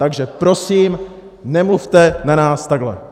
Takže prosím, nemluvte na nás takhle!